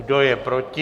Kdo je proti?